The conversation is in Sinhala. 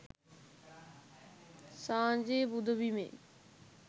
සාංචි පුදබිමේ